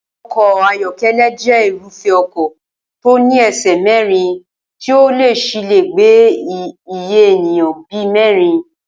O̩kò̩ ayó̩ké̩lé̩ jé̩ irúfé̩ o̩kò̩ tó ní e̩sè̩ mé̩rin tí ó sì lè gbé iye ènìyàn bí i mé̩rin